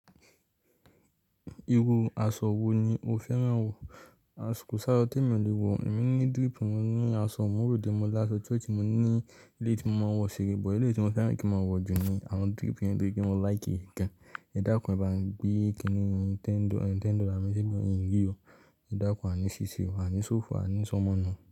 Iru aṣọ wo ni o fẹ́ran wọ̀? Aṣọ kosá asọ́ tẹ́ mi ò lè wọ̀, èmi ní drip, mo ní aṣọ ìmúróde mó lásọ chruch mó ní eleyi tí mo máa ń wọ̀ ṣeré, bọ̀ eleyi tí mo fẹ́ran kí mó wọ̀ jù ni àwọn drip yẹn ni tori pe mó like e gan. Ẹ dákún, ẹ bá mi gbé kiní Nintendo, 10 dollar ni mo fi mii ri oh, ẹ dákún, a ní ṣíṣe o, a ní sófo, a ní sọ́mọ́nu.